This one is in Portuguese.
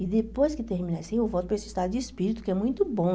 E depois que terminei assim, eu volto para esse estado de espírito, que é muito bom.